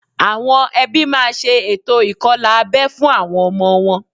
Àwọn ẹbí máa ṣe ètò ìkọlà abẹ́ fún àwọn ọmọ wọn